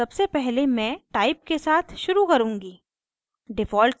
सबसे पहले मैं type के साथ शुरू करुँगी